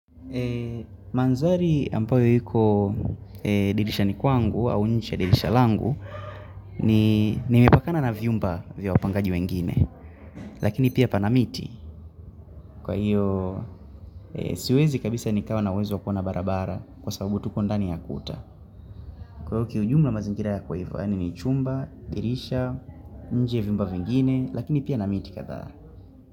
Eee, madhari ambayo iko dirishani kwangu, au nje ya dirisha langu, nimepakana na vyumba vya wapangaji wengine, lakini pia pana miti. Kwa hiyo, siwezi kabisa nikawa na uwezo wa kuona barabara kwa sababu tuko ndani ya kuta. Kwa hiyo kiujumla mazingira ya kwa hivu, yaani ni chumba, dirisha, nje vyumba wengine, lakini pia na miti kadha.